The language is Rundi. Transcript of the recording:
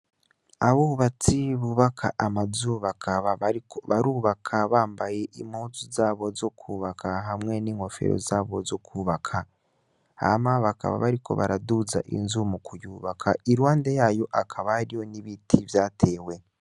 Abubatsi bubaka amazu bakaba bariko barubaka bambaye impuzu zabo zo kwubaka hamwe n'inkofero zabo zo kwubaka, hama bakaba bariko baraduza inzu mu kuyubaka, Iruhande yayo hakaba hariho n'ibiti vyatewe.